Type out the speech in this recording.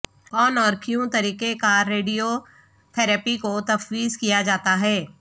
کون اور کیوں طریقہ کار ریڈیو تھراپی کو تفویض کیا جاتا ہے